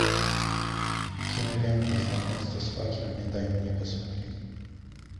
кинолента знакомство с факерами дай мне посмотреть